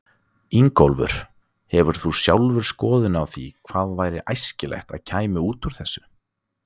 Ingólfur: Hefur þú sjálfur skoðun á því hvað væri æskilegt að kæmi út úr þessu?